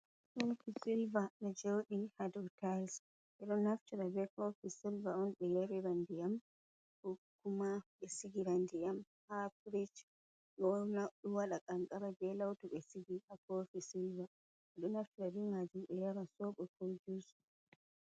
Kofi silva ɗo jaodi ha dau talss. Be ɗo naftira be kofi silva on be yalira ndiyam. Ko kuma be sigira ndiyam ha firich. Ɗo wada kanqara be lautu be sigi ha kofi silva. Beɗo naftira be majum be nyara sobo ko juss.